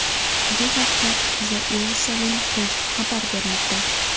Bu haqda The Jerusalem Post xabar bermoqda .